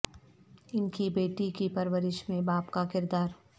ان کی بیٹی کی پرورش میں باپ کا کردار